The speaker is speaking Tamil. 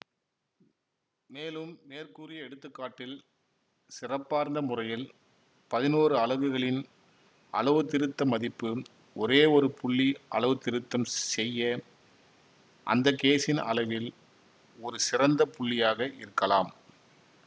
மேலும் மேற்கூறிய எடுத்துக்காட்டில் சிறப்பார்ந்த முறையில் பதினொரு அலகுகளின் அளவுத்திருத்த மதிப்பு ஒரேயொரு புள்ளி அளவுத்திருத்தம் செய்ய அந்த கேஜின் அளவில் ஒரு சிறந்த புள்ளியாக இருக்கலாம்